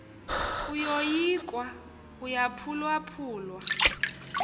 uyoyikwa uyaphulwaphu lwa